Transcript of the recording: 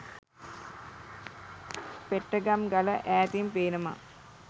පෙට්ටගම් ගල ඈතින් පේනවා.